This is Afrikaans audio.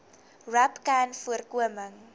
rapcanvoorkoming